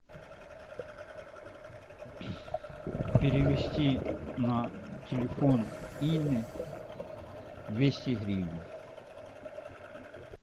перевести на телефон инны двести гривен